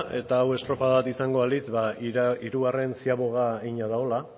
eta hau estropada bat izango balitz hirugarren ziaboga egina dagoela